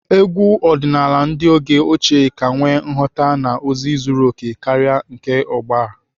Egwu ọdịnaala ndị oge ochie ka nwee nghọta na ozi zuru okè karịa nke ugbu a.